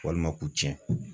Walima k'u tiɲɛ.